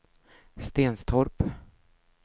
Stenstorp